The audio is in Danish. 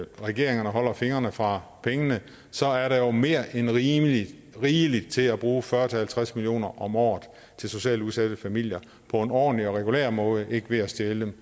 regeringen holder fingrene fra pengene så er der jo mere end rigeligt rigeligt til at bruge fyrre til halvtreds million kroner om året til socialt udsatte familier på en ordentlig og regulær måde ikke ved at stjæle